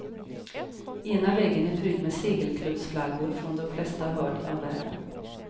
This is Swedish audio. Ena väggen är prydd med segelklubbflaggor från de flesta hörn av världen.